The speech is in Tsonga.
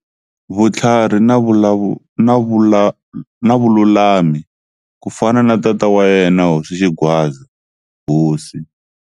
Vutlhari na Vululami-Ku fana na tata wa yena Hosi Xingwadza, Hosi.